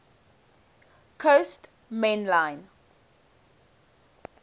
coast main line